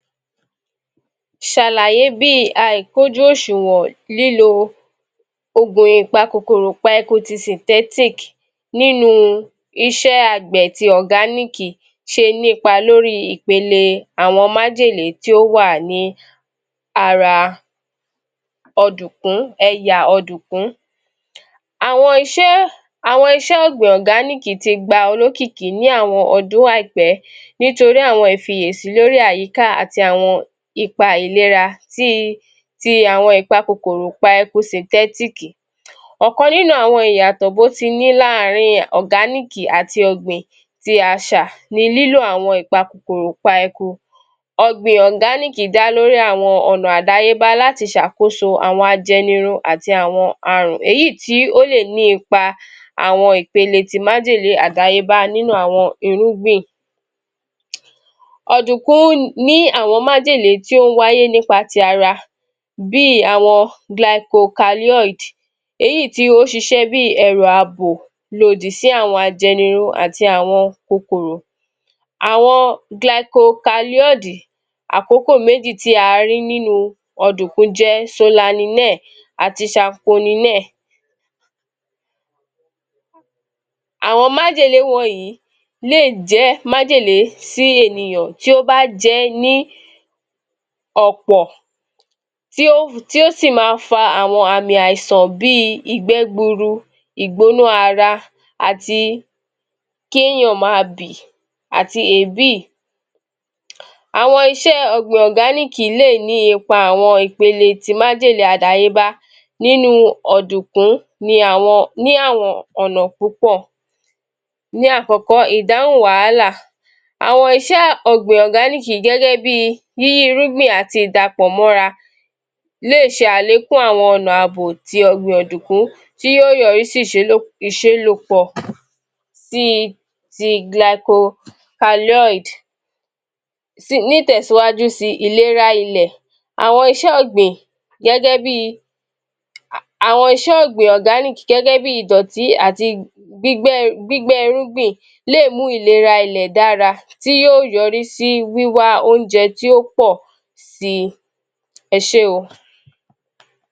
Ṣàlàyé bí i àìkójú oṣúnwọ̀n lílọ òògùn ìpakòkòrò pa eku ti sìntẹ̀tìk nínú iṣẹ agbẹ̀ ti Ọ̀gánííkì ṣe nípa lori ìpele àwọn màjèlé tí ó wà ní ara odùnkún, ẹyà ọdùnkún. Àwọn iṣẹ àwọn iṣẹ ọ̀gbìn ọ̀gáníìkì ti gba olókìkí ní àwọn ọdún àìpẹ nítorí àwọn ìfiyèsí lórí àyíká àti àwọn ipa ìlera ti í ti àwọn ìpa kòkòrò pa eku sìtẹ́tíìkì. Ọ̀kan nínú àwọn ìyàtọ̀ bótiní laarin ọ̀gáníìkì ati ọ̀gbìn ti àṣà ni lílo àwọn ìpa kòkòrò pa eku. Ọ̀gbìn Ọ̀gánííkì dá lórí àwọn ọ̀nà àdáyébá láti ṣàkóso àwọn ajẹniru àti àwọn àrùn èyí í tí lè ní ipa àwọn ìpele ti májèlé àdáyébá nínú àwọn irúgbìn. Ọdùnkún ní àwọn màjèlé tí ó ń wáyé nípa ti ara, bíi àwọn glaikokalíọ̀dì èyí í tí ó ń ṣiṣẹ bí i ẹrù abò lòdì sí àwọn ajẹniru àti àwọn kòkòrò. Àwọn glaikokalíọ̀dì àkókò méjì tí a rí nínú ọ̀dùnkún jẹ Ṣolalinẹẹ̀ àti Ṣaponi nẹ́ẹ̀ [pause)] Àwọn màjèlé wọ̀nyí lé è jẹ màjèlé sí ènìyọ̀n tí ó bá jẹ ẹ ní ọ̀pọ̀ tí ó tí o sì maa fa àmi àìsàn bí i ìgbẹ́ gbuuru, ìgbóná ara àti kéèyàn máa bì àti èébì. Àwọn iṣẹ ọ̀gbìn ọ̀gáníìkì lè ní ipa awọn ìpele májèlé àdáyébá nínú ọ̀dùnkún ni àwọn ní àwọn ọ̀nà púpọ̀. Ní àkọ́kọ́, ìdáhùn wàhálà àwọn iṣẹ́ ọ̀gbìn ọ̀gáníìkì gẹ́gẹ́ bí i ní irúgbìn àti ìdàpọ̀ mọra lè ṣe àlékún àwọn ọ̀nà àbò ti ọ̀gbìn ọ̀dùnkún tí yóò yọrí sí [stuttering}] ìṣelòpọ̀ ti ti glaiko kalíọ̀dì. Ní ìtẹ̀síwájú si, ìlera ilẹ̀ àwọn iṣẹ́ ọ gbìn, gẹ́gẹ́bí i àwọn iṣẹ́ọ̀gbìn Ọ̀gánííkì gẹ́gẹ́ bí ìdọ̀tí àti gbígbé gbígbẹ́irúgbìn lè mú ìlera ilẹ̀ dára, tí yóò yọrísí wíwá oúnjẹ tí ó pọ̀ sí i. Ẹ ṣé.